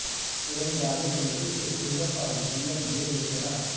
तीरंदाजों का नेतृत्व सुंदर और धुलियन बेग ने किया था